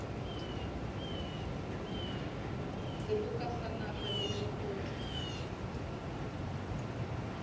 seboka sa naha le lekgotla